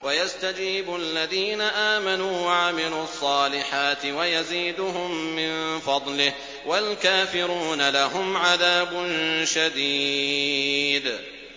وَيَسْتَجِيبُ الَّذِينَ آمَنُوا وَعَمِلُوا الصَّالِحَاتِ وَيَزِيدُهُم مِّن فَضْلِهِ ۚ وَالْكَافِرُونَ لَهُمْ عَذَابٌ شَدِيدٌ